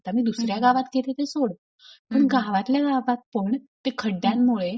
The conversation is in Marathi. आता मी दुसऱ्या गावात गेले ते सोड पण गावातल्या गावात पण त्या खड्ड्यांमुळे